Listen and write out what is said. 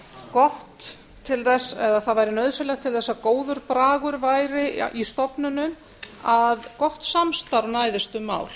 gott til þess eða það væri nauðsynlegt til þess að góður bragur væri í stofnunum að gott samstarf næðist um mál